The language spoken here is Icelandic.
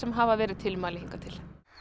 hafa verið tilmæli hingað til